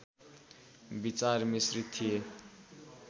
विचार मिश्रित थिए